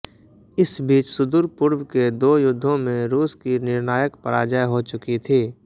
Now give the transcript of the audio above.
इस बीच सुदूरपूर्व के दो युद्धों में रूस की निर्णायक पराजय हो चुकी थी